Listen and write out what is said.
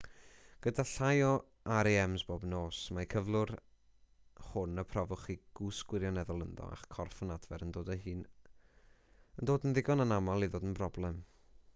gyda llai o rems bob nos mae'r cyflwr hwn y profwch chi gwsg gwirioneddol ynddo a'ch corff yn adfer yn dod yn ddigon anaml i ddod yn broblem